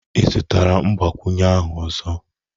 Ị zụtara mgbakwunye ahụ ọzọ?